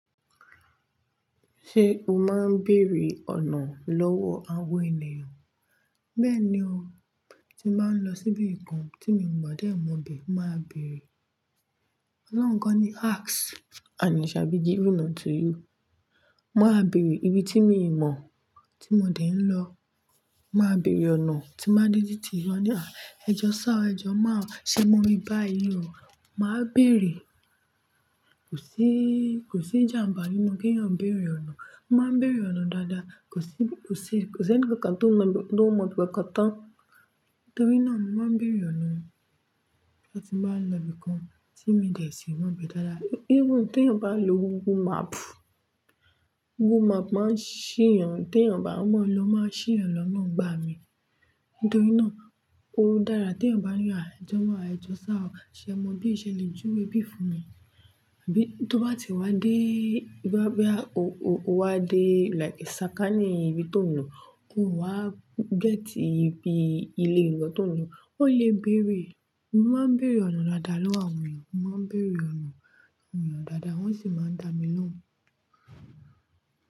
Ṣé o máa ń bèrè ọ̀nà lọ́wọ́ àwọn ènìyàn? Bẹ́ẹ̀ni o, tí máa ń lọ síbi kan tí mi ò mọ̀ bẹ́ẹ̀, màá bèrè. Ọlọ́run kọ́ ni asks and it shall be given unto you. Màá bèrè ibi tí mi ò mọ̀ tí mo dẹ̀ ń lọ. Màá bèrè ọ̀nà tí máa ń dé tí mo lọ ní à, ẹjọ́ sá ẹjọ́ máa, ṣé mo bí báyìí o? Màá bèrè. Kò sí, kò sí ìjàǹbá nínú kí ènìyàn bèrè ọ̀nà. Mo máa ń bèrè ọ̀nà dáadáa. Kò sí, kò sí, kò sí ẹnìkankan tó mọ̀, tó mọ̀ bí i kankan tán. Nítorí náà, mo máa ń bèrè ọ̀nà tí mo bá ń lọ ibi kan tí mi ò dè sí wọn bẹ́ẹ̀ dáadáa. Even tí ènìyàn bá ń lo Google Map, Google Map máa ń ṣì yàn. Tí ènìyàn bá mọ̀ lọ máa ṣì yàn lọ́ná ọgbà mi. Nítorí náà, ó dára tí ènìyàn bá yọ̀, à, ẹjọ́ máa, ẹjọ́ sá ọ, ṣé ẹ mọ bí i ṣe lè júwe bí i fún mi? Bíi tó bá ti wá dé ibí bóyá o, o wá dé like sàkání ibi tó nílò, ó wá gẹ́tì ibi ilé ìlọ tó nílò, ó lè bèrè. Mo máa ń bèrè ọ̀nà dáadáa lọ́wọ́ àwọn èèyàn. Mo máa ń bèrè ọ̀nà àwọn ènìyàn dáadáa wọ́n sì máa ń dá mi lóhùn.